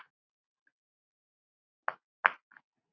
Elskum þig, hvíl í friði.